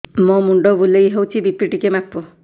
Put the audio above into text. ମୋ ମୁଣ୍ଡ ବୁଲେଇ ହଉଚି ବି.ପି ଟିକେ ମାପ